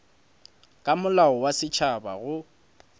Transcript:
ka molao wa setšhaba go